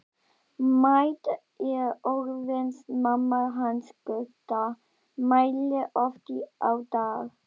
Mædd er orðin mamma hans Gutta, mælir oft á dag.